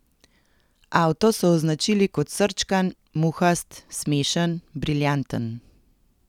Avto so označili kot srčkan, muhast, smešen, briljanten.